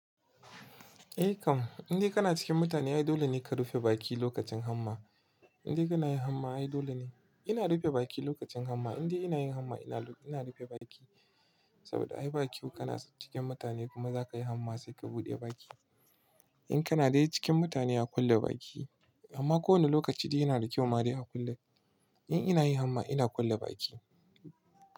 Eh kam, indai kana cikin mutane ai dole ne ka rufe baki lokacin hamma. Indai kana yin hamma ai dole ne-- ina rufe baki lokacin hamma. Indai ina yin hamma ina rufe baki. Saboda ai bakyau kana cikin mutane kuma zaka yi hamma sai ka buɗe baki. In kana dai cikin mutane a kulle baki. Amma kowane lokaci dai yana da kyau ma dai a kulle. In ina yi hamma ina kulle baki.